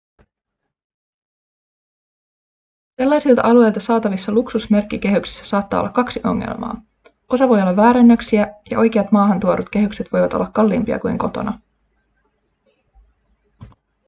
sellaisilta alueilta saatavissa luksusmerkkikehyksissä saattaa olla kaksi ongelmaa osa voi olla väärennöksiä ja oikeat maahantuodut kehykset voivat olla kalliimpia kuin kotona